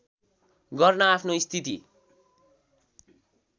गर्न आफ्नो स्थिति